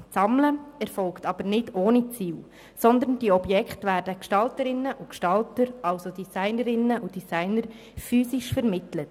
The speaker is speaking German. Das Sammeln erfolgt jedoch nicht ohne Ziel, sondern diese Objekte werden Gestalterinnen und Gestaltern, also Designerinnen und Designern, physisch vermittelt.